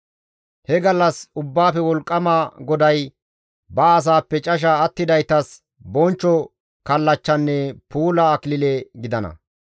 He gallas Ubbaafe Wolqqama GODAY ba asaappe casha attidaytas bonchcho kallachchanne puula akilile gidana.